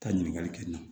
Taa ɲininkali kɛ n na